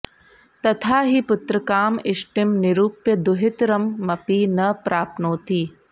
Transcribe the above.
तथा हि पुत्रकाम इष्टिं निरूप्य दुहितरमपि न प्राप्नोति